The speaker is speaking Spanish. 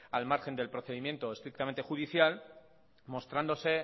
al margen del procedimiento estrictamente judicial mostrándose